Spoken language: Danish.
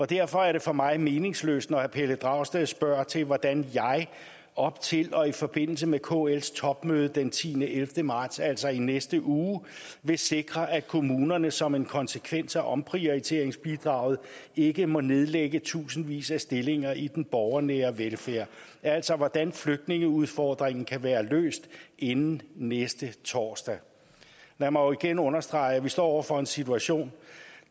derfor er det for mig meningsløst når herre pelle dragsted spørger til hvordan jeg op til og i forbindelse med kls topmøde den tiende elleve marts altså i næste uge vil sikre at kommunerne som en konsekvens af omprioriteringsbidraget ikke må nedlægge tusindvis af stillinger i den borgernære velfærd altså hvordan flygtningeudfordringen kan være løst inden næste torsdag man må jo igen understrege at vi står over for en situation